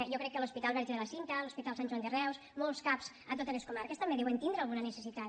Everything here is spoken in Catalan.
jo crec que l’hospital verge de la cinta l’hospital sant joan de reus molts cap a totes les comarques també deuen tindre alguna necessitat